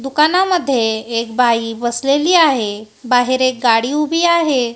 दुकानामध्ये एक बाई बसलेली आहे बाहेर एक गाडी उभी आहे.